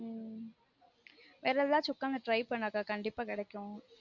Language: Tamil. உம் வேற எதாச்சும் உக்காந்து try பண்ணு அக்கா கண்டீப்பா கிடைக்கும்